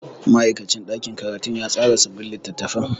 Ma'aikacin ɗakin karatu ya tsara sabbin littattafan.